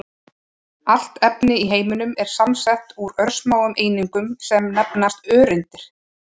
Allt efni í heiminum er samsett úr örsmáum einingum sem nefnast öreindir.